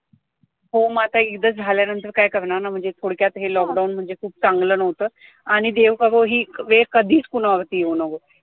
हो माझा इजा झाल्यानंतर काय करणार ना म्हणजे हे थोडक्यात lockdown म्हणजे खूप चांगलं नव्हतं आणि देव करो हि वेळ कधीच कुणावर येऊ नाव्हो